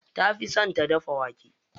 Ta fi son ta dafa wake.